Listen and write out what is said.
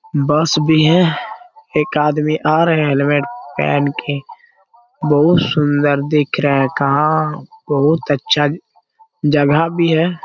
बस भी है एक आदमी आ रहे हैं हेलमेट पहन के बहुत सुंदर दिख रहा है कहाँ बहुत अच्छा जगह भी है ।